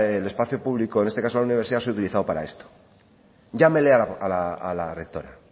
el espacio público en este caso la universidad se haya utilizado para esto llámele a la rectora